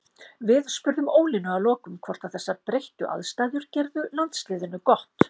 Við spurðum Ólínu að lokum hvort að þessar breyttu aðstæður gerðu landsliðinu gott.